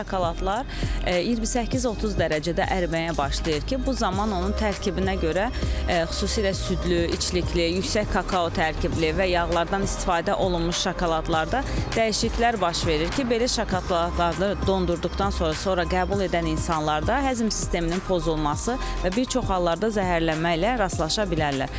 Şokoladlar 28-30 dərəcədə əriməyə başlayır ki, bu zaman onun tərkibinə görə xüsusilə südlü, içlikli, yüksək kakao tərkibli və yağlardan istifadə olunmuş şokoladlarda dəyişiklər baş verir ki, belə şokoladlarda dondurduqdan sonra qəbul edən insanlarda həzm sisteminin pozulması və bir çox hallarda zəhərlənmə ilə rastlaşa bilirlər.